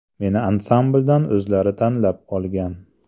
Meni ansambldan o‘zlari tanlab olgan.